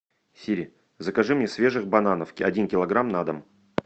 сири закажи мне свежих бананов один килограмм на дом